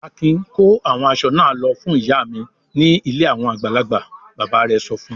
"Akin kó àwọn aṣọ náà lọ fún ìyá mi ní ilé àwọn àgbàlagbà!" Bàbá rẹ̀ sọ fún un.